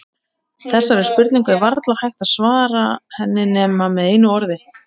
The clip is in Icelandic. Þessari spurningu er varla hægt að svara henni nema með einu orði.